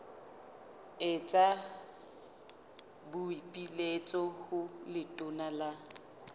etsa boipiletso ho letona la